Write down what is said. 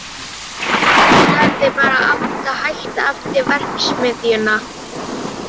Hann varð var við hreyfingu uppi á efri hæð lögreglu